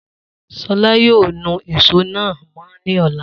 Solá yóò nu èso náà mọ́ ni ọ̀la.